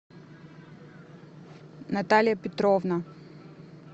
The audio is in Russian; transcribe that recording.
наталья петровна